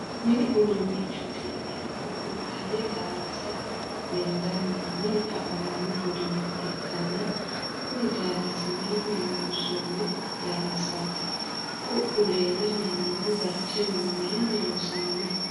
mini udduunichooti yineemmohu gonxanni daallasa lendanna mine afamanno uduunne ikkanna, kuni daallasi mayiinni loonsoonni daallasaati? ku'u leelanni noohu barcimuno mayiinni loonsoonniho?